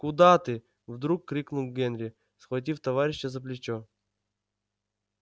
куда ты вдруг крикнул генри схватив товарища за плечо